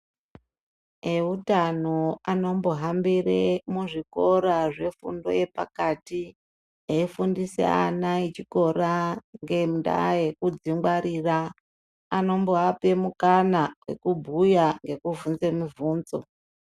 Eutano anombohambire muzvikora zvefundo yepakati eifundiswe ana echikora ngendaa yekudzingwarira, anomboape mukana wekubhuya nekuvhunze muvhunzo.